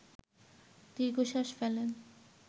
দীর্ঘশ্বাস ফেলেন